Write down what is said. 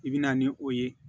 I bɛ na ni o ye